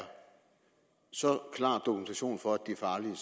så klar dokumentation for er farlige